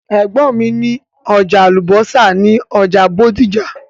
Ẹ̀gbọ́n mi ní ọjà àlùbọ́sà ní ọjà Bódìjà.